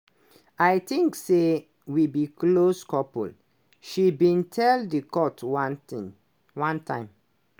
"i think say we be close couple" she bin tell di court one thing one time.